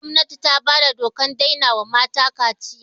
Jiya gwamnati ta bada dokan daina wa mata kaciya